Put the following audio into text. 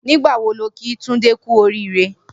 Nigbà wó ló kí Tunde kù óriré?